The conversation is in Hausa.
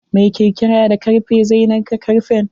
Mai kirkira da karfe zai narka karfen.